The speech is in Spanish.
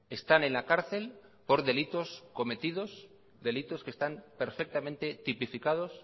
están en la cárcel por delitos cometidos delitos que están perfectamente tipificados